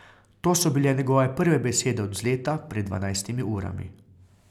To so bile njegove prve besede od vzleta pred dvanajstimi urami.